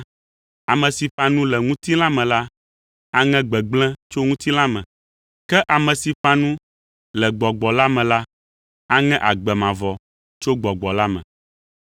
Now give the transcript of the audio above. Ame si ƒã nu le ŋutilã me la, aŋe gbegblẽ tso ŋutilã me; ke ame si ƒã nu le Gbɔgbɔ la me la, aŋe agbe mavɔ tso Gbɔgbɔ la me.